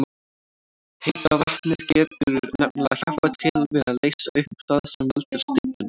Heita vatnið getur nefnilega hjálpað til við að leysa upp það sem veldur stíflunni.